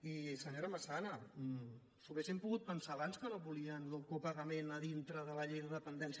i senyora massana s’ho haguessin pogut pensar abans que no volien el copagament a dintre de la llei de dependència